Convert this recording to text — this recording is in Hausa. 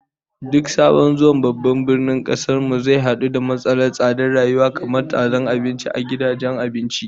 Duk sabon zuwa babban birnin kasar mu zai hadu da matsalar tsadar rayuwa, kamar ta tsadar abinci a gidajen abinci